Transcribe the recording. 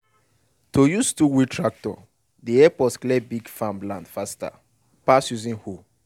to use two-wheel tractor dey help us clear big land faster pass using hoe.